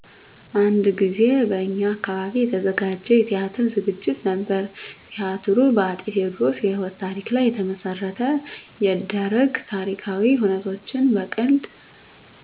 አንድ ጊዜ በእኛ አካባቢ የተዘጋጀ የቲያትር ዝግጅት ነበር። ቲያትሩ በ አፄ ቴዎድሮስ የህይወት ታሪክ ላይ መሰረት የደረገ ታሪካዊ ሁነቶችን በቀልድ